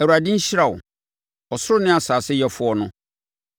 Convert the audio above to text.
Awurade nhyira wo, ɔsoro ne asase Yɛfoɔ no.